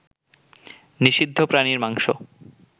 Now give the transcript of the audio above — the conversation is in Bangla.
নিষিদ্ধ প্রাণীর মাংস